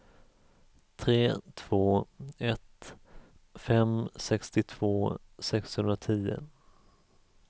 tre två ett fem sextiotvå sexhundratio